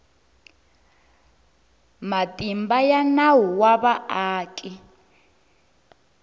matimba ya nawu wa vaaki